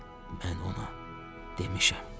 Mən ona demişəm.